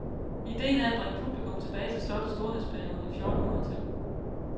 Ideen er at bringe publikum tilbage til slottets storhedsperiode i fjorten hundrede tallet.